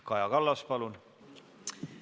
Kaja Kallas, palun!